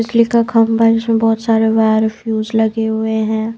बिजली का खंभा है जिसमें बहुत सारे वायर फ्यूज लगे हुए हैं।